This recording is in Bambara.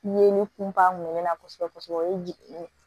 Ye ne kun b'a mɛn ne na kosɛbɛ kosɛbɛ o ye jigi ye